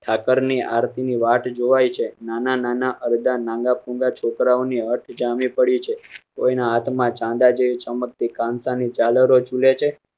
ઠાકરની આરતી ની વાટ જોવાય છે. નાનાં નાનાં અરધાં નાગાંપૂગાં છોકરાંની અર્થ જામી પડી છે. કોઈ ના હાથ માં ચાંદા જેવી ચમકતી જલારો ઝૂલે છે